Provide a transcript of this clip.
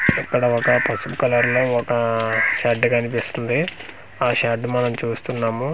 ఇక్కడ ఒక పసుపు కలర్ లో ఒకా షెడ్ కనిపిస్తుంది ఆ షెడ్ మనం చూస్తున్నాము--